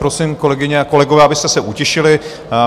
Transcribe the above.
Prosím, kolegyně a kolegové, abyste se utišili.